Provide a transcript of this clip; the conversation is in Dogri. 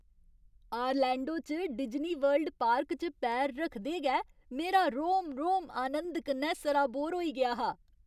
आरलैंडो च डिज्नीवर्ल्ड पार्क च पैर रखदे गै मेरा रोम रोम आनंद कन्नै सराबोर होई गेआ हा।